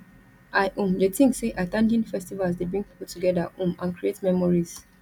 i um dey think say at ten ding festivals dey bring people together um and create memories